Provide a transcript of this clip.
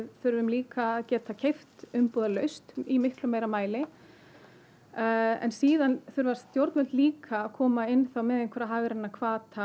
þurfum líka að geta keypt umbúðalaust í miklu meiri mæli síðan þurfa stjórnvöld líka að koma inn með einhverja hagræna hvata